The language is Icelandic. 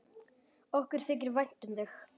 Okkur þykir vænt um þig.